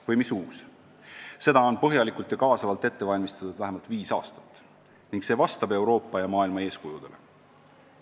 Või mis uus – seda on põhjalikult ja kaasavalt ette valmistatud vähemalt viis aastat ning see vastab Euroopa ja maailma eeskujudele.